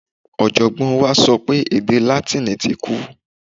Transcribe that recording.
Ọ̀jọ̀gbọ́n wa sọ pé èdè Látíìnì ti kú.